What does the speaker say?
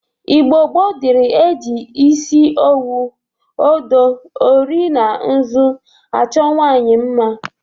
Igbo gboo dịri e ji isi owu, odo, ori na nzụ achọ nwaanyị mma.